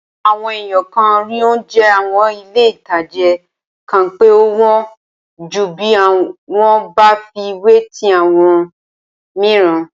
Awọn èèyàn kan rí oúnjẹ àwọn ilé-ìtánjẹ kan pé ó wọ́n ju bí wọ́n bá fi wé ti àwọn mìíràn